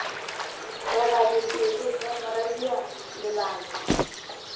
roba dipelo he moradia lebajwa